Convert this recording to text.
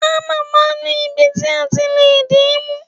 Hámà máa ń ní ibi ti a ti lé di mú.